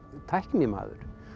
tæknimaður